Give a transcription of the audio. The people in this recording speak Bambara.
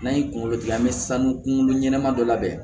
N'an ye kungolo gilan an bɛ sanu kunkolo ɲɛnama dɔ labɛn